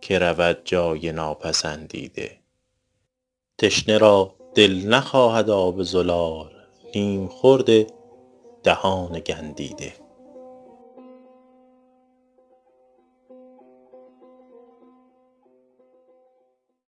که رود جای ناپسندیده تشنه را دل نخواهد آب زلال نیم خورد دهان گندیده